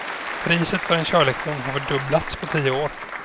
Priset för en körlektion har fördubblats på tio år.